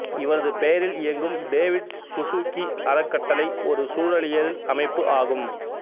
இவரது பெயரில் இயங்கும் டேவிட் சசூக்கி அறக்கட்டளை ஒரு சூழலியல் அமைப்பு ஆகும்